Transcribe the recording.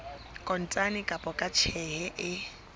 kontane kapa ka tjheke e